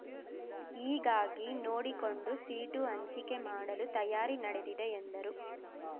ಹೀಗಾಗಿ ನೋಡಿಕೊಂಡು ಸೀಟು ಹಂಚಿಕೆ ಮಾಡಲು ತಯಾರಿ ನಡೆದಿದೆ ಎಂದರು